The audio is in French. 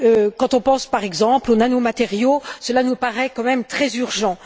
Quand on pense, par exemple, aux nanomatériaux, cela nous paraît quand même très urgent.